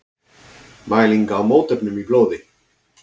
Mæling á mótefnum í blóði.